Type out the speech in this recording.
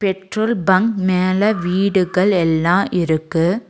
Petrol bunk மேல வீடுகள் எல்லா இருக்கு.